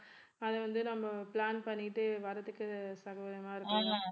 அதை வந்து நம்ம plan பண்ணிட்டு வர்றதுக்கு